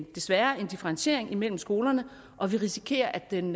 desværre en differentiering mellem skolerne og vi risikerer at den